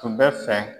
Tun bɛ fɛ